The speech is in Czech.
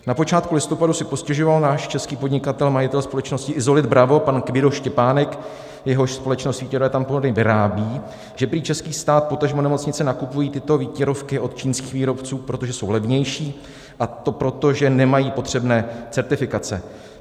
Na počátku listopadu si postěžoval náš český podnikatel, majitel společnosti Isolit Bravo, pan Kvido Štěpánek, jehož společnost výtěrové tampony vyrábí, že prý český stát, potažmo nemocnice nakupují tyto výtěrovky od čínských výrobců, protože jsou levnější, a to proto, že nemají potřebné certifikace.